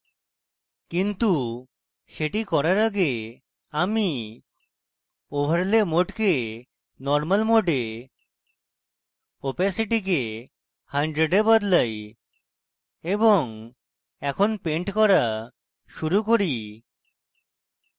কিন্তু সেটি শুরু করার আগে আমি overlay mode normal mode এ opacity কে 100 এ বদলাই এবং এখন পেন্ট করা শুরু করি